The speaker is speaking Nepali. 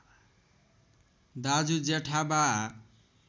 दाजु जेठा बा